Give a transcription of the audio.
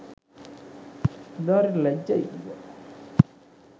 උදාරීට ලැජ්ජයි කීවා